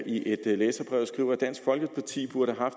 i et læserbrev skriver han dansk folkeparti burde have